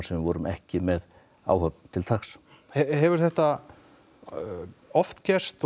sem við vorum ekki með áhöfn til taks hefur þetta oft gerst